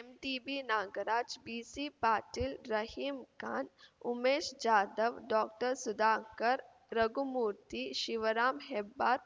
MTB Nagaraj B C Patil Rahim Khan Umesh Jadhav ಡಾಕ್ಟರ್ಸುಧಾಕರ್‌ Raghumurthy Shivaram Hebbar